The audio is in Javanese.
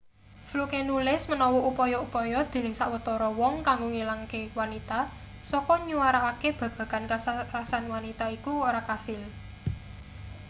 fluke nulis menawa upaya-upaya dening sawetara wong kanggo ngilangke wanita saka nyuarakake babagan kasarasan wanita iku ora kasil